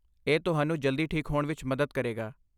ਇਹ ਤੁਹਾਨੂੰ ਜਲਦੀ ਠੀਕ ਹੋਣ ਵਿੱਚ ਮਦਦ ਕਰੇਗਾ।